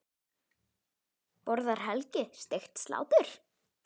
Borðar Helgi steikt slátur?